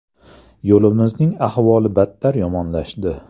Yo‘limizning ahvoli battar yomonlashdi.